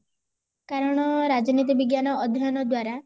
କାରଣ ରାଜନୀତି ବିଜ୍ଞାନ ଅଧ୍ୟୟନ ଦ୍ଵାରା